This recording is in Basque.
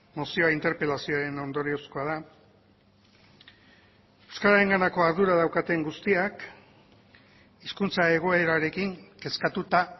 mozioa interpelazioaren ondoriozkoa da euskararenganako ardura daukaten guztiak hizkuntza egoerarekin kezkatuta